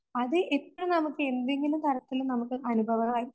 അത് ഇപ്പം നമുക്കെന്തെങ്കിലും തരത്തില് അനുഭവമായി